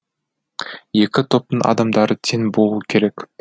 екі топтың адамдары тең болуы керек